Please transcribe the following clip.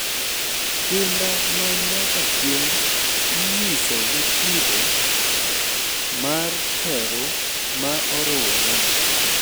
Kinda ma nyaka chieng' inyiso gi kido mar teru ma orure,